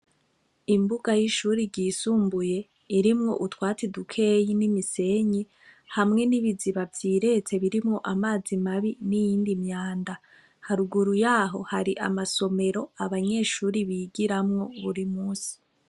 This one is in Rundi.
Imbuga y'ishuri ryisumbuye irimwo utwatsi dukeyi n'imisenyi hamwe n'ibiziba vyiretse birimwo amazi mabi n'iyindi myanda, haruguru yaho hari amasomero abanyeshuri bigiramwo buri munsi.